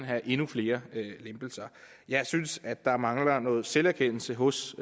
have endnu flere lempelser jeg synes at der mangler noget selverkendelse hos